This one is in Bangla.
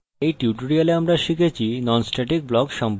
in tutorial আমরা শিখেছি: